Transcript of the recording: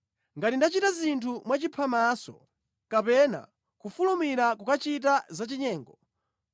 “Ngati ndachita zinthu mwachiphamaso, kapena kufulumira kukachita zachinyengo,